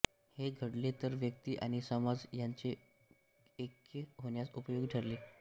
हे घडले तर व्यक्ती आणि समाज यांचे ऐक्य होण्यास उपयोगी ठरेल